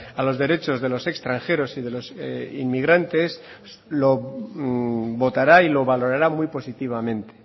a los derechos de los extranjeros y de los inmigrantes lo votará y lo valorará muy positivamente